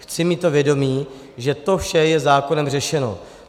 Chci mít to vědomí, že to vše je zákonem řešeno.